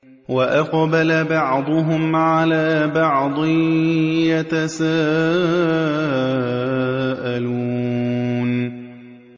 وَأَقْبَلَ بَعْضُهُمْ عَلَىٰ بَعْضٍ يَتَسَاءَلُونَ